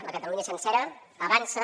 la catalunya sencera avança